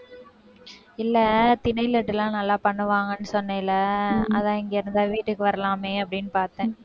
இல்லை திணையில இதெல்லாம் நல்லா பண்ணுவாங்கன்னு சொன்னேல்ல அதான் இங்க இருந்தா வீட்டுக்கு வரலாமே அப்படின்னு பார்த்தேன்